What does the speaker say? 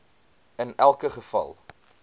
in elke geval